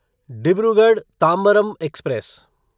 Dibrugarh Tambaram express